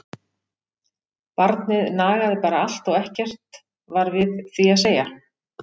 Barnið nagaði bara allt og ekkert var við því að segja!